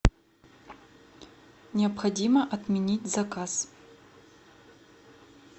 необходимо отменить заказ